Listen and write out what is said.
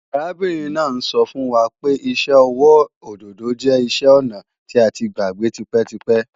Arábìnrin náà ń sọ fún wa pé iṣẹ́ ọwọ́ òdòdó jẹ́ iṣẹ́-ọnà tí a ti gbàgbé tipẹ́tipẹ́